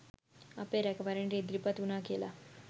අපේ රැකවරණයට ඉදිරිපත් වුනා කියලා